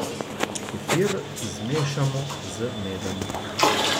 Kefir zmešamo z medom.